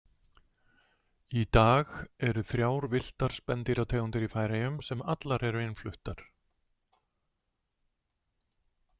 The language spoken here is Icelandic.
Í dag eru þrjár villtar spendýrategundir í Færeyjum sem allar eru innfluttar.